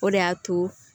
O de y'a to